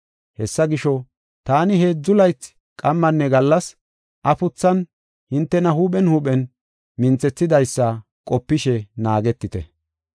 Hessa gisho, taani heedzu laythi qammanne gallas afuthan hintena huuphen huuphen minthethidaysa qopishe naagetite.